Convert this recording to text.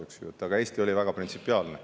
Aga Eesti oli selles küsimuses väga printsipiaalne.